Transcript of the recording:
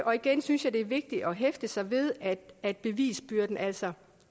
og igen synes jeg det er vigtigt at hæfte sig ved at bevisbyrden altså